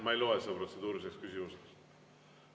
Ma ei loe seda protseduuriliseks küsimuseks.